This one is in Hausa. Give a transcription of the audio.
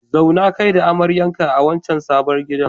Zauna kai da amaryarka a wancan sabon gidan.